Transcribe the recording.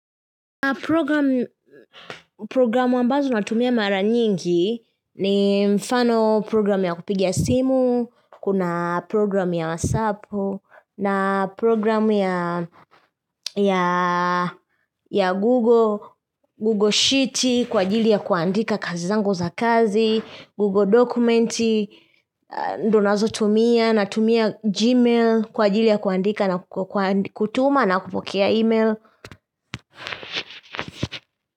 Programu ambazo natumia mara nyingi ni mfano program ya kupiga simu, kuna program ya whatsappu, na program ya ya Google Google Sheet kwa ajili ya kuandika kazi zangu za kazi, Google Documenti, ndo nazotumia natumia Gmail kwa ajili ya kuandika na kutuma na kupokea email.